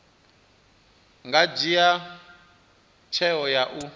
nga dzhia tsheo ya u